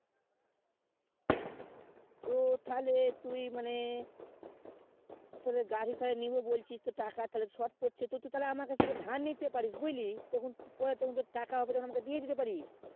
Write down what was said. তো তালে তুই মানে তোদের গাড়ি তালে নিবো বলছিস তো টাকা তো short পড়ছে তো তুই আমার কাছ থেকে ধার নিতে পারিস বুঝলি তখন পরে তখন তোর টাকা হবে তো আমাকে দিয়ে দিতে পারিস